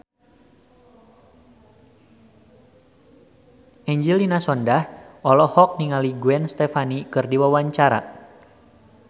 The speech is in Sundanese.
Angelina Sondakh olohok ningali Gwen Stefani keur diwawancara